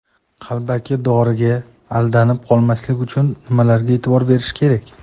Qalbaki doriga aldanib qolmaslik uchun nimalarga e’tibor berish kerak?.